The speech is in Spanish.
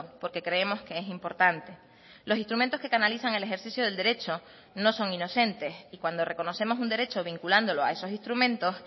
porque creemos que es importante los instrumentos que canalizan el ejercicio del derecho no son inocentes y cuando reconocemos un derecho vinculándolo a esos instrumentos